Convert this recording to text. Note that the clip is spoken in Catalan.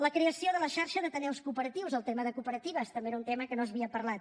la creació de la xarxa d’ateneus cooperatius el tema de cooperatives també era un tema que no s’havia parlat